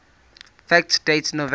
fact date november